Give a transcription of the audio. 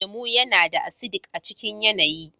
lemu yana da ”acidic" a cikin yanayi.